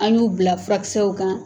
An y'u bila furakisɛw kan